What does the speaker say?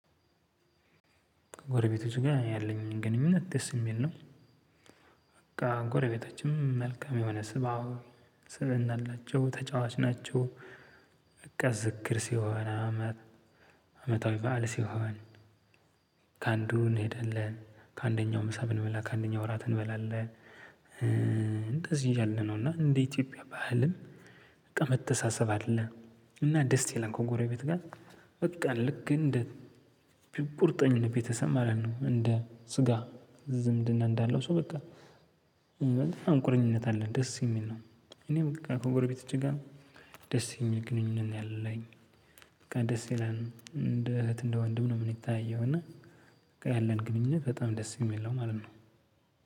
ጎረቤቶች ጋር ያለኝ ግንኙነት ደስ የሚል ነው። በቃ ጎረቤታችንም መልካም የሆነ ስብ አዎ ስብእና አላቸው ተጫዋች ናቸው። እቀስ ዝክር ሲሆን አመት አመታዊ በዓል ሲሆን። ከአንዱ እንሄዳለን ከአንደኛው ምሳ ብንበላ አንደኛው ራት እንበላለን። እንደዚህ እያልነው እና እንደ ኢትዮጵያ ባህልም በቃ መተሳሰብ አለ። እና ደስ ይላል ከጎረቤት ጋር። በቃ ልክ እንደ ቁርጠኝነት ቤተሰብ ማለት ነው። እንደ ስጋ ዝምድና እንዳለው ሰው በቃ። በጣም ቁርኝነት አለ ደስ የሚል ነው። እኔ በቃ ከጎረቤቶቼ ጋር ደስ የሚል ግንኙነት ነው ያለኝ። በቃ ደስ ይላል እንደ እህት እንደ ወንድ ነው የምንተያየው እና። በቃ ያለን ግንኙነት በጣም ደስ የሚል ነው ማለት ነው።